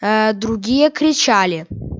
ээ другие кричали